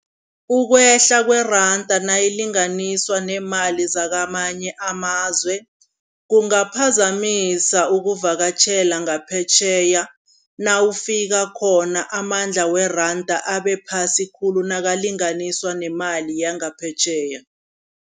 Ukwehla kweranda nayilinganiswa neemali zakamanye amazwe, kungaphazamisa ukuvakatjhela ngaphetjheya, nawufika khona amandla weranda abephasi khulu nakulinganiswa nemali yangaphetjheya.